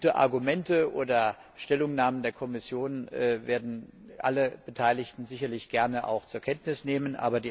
Gute Argumente oder Stellungnahmen der Kommission werden alle Beteiligten sicherlich gerne auch zur Kenntnis nehmen.